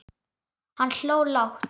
Hann hló lágt.